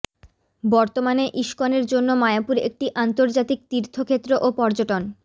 বর্তমানে ইসকনের জন্য মায়াপুর একটি আন্তর্জাতিক তীর্থক্ষেত্র ও পর্যটন